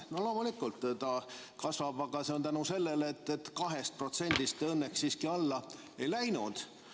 No loomulikult see kasvab, aga tänu sellele, et 2%-st te õnneks siiski allapoole ei läinud.